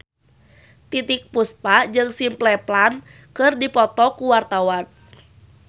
Titiek Puspa jeung Simple Plan keur dipoto ku wartawan